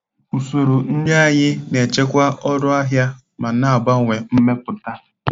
Usoro nri anyị na-echekwa ọnụ ahịa ma na-abawanye mmepụta.